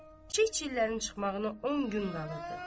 Kiçik chillərin çıxmağına on gün qalırdı.